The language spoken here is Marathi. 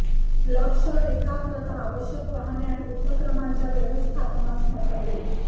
लक्ष एकाग्रता आवश्यक वाहने आणि उपक्रमांच्या व्यवस्थापनास मतभेद